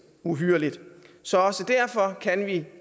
uhyrligt så også derfor kan vi